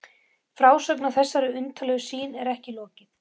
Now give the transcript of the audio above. Frásögninni af þessari undarlegu sýn er ekki lokið.